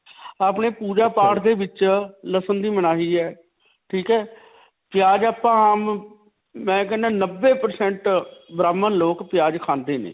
ਅਪਨੇ ਪੂਜਾ-ਪਾਠ ਦੇ ਵਿਚ ਲਸਨ ਦੀ ਮਨਾਹੀ ਹੈ. ਠੀਕ ਹੈ. ਪਿਆਜ ਆਪਾਂ ਆਮ ਅਅ ਮੈਂ ਕਹਿਣਾ ਨੱਬੇ percent ਬ੍ਰਾਹਮਣ ਲੋਗ ਪਿਆਜ ਖਾਂਦੇ ਨੇ.